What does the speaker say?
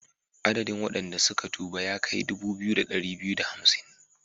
Adadin wadanda suka tuba ya kai dubu biyu da dari biyu da hamsin.